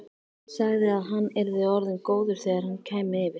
Sagði að hann yrði orðinn góður þegar ég kæmi yfir.